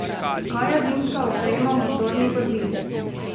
Kaj je zimska oprema motornih vozil?